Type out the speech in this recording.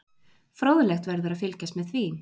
Fróðlegt verður að fylgjast með því.